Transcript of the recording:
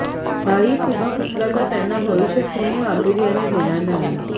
हाही फुगा फुटला तर त्यांना भविष्यात कुणी गांभीर्याने घेणार नाही